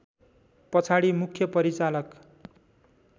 पछाडि मुख्य परिचालक